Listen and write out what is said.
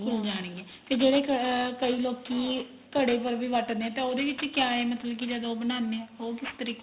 ਘੁੱਲ ਜਾਂ ਗੀਆਂ ਤੇ ਜਿਹੜੇ ਕਈ ਲੋਕੀ ਘੜੇ ਪਰ ਵੀ ਵੱਟਦੇ ਏ ਤਾਂ ਉਹਦੇ ਵਿੱਚ ਕਿਆ ਏ ਮਤਲਬ ਕੀ ਬਣਾਂਦੇ ਆ ਉਹ ਕਿਸ ਤਰੀਕੇ